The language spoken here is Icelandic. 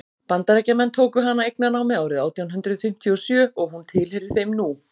bandaríkjamenn tóku hana eignarnámi árið átján hundrað fimmtíu og sjö og hún tilheyrir þeim nú